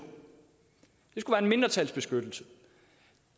det skulle være en mindretalsbeskyttelse